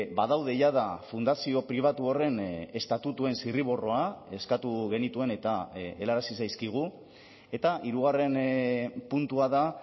badaude jada fundazio pribatu horren estatutuen zirriborroa eskatu genituen eta helarazi zaizkigu eta hirugarren puntua da